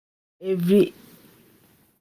Di knowledge wey pesin teach himsef dey hard to forget.